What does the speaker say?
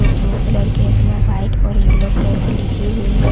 Blue colour case में white और yellow colour से लिखी हुई है।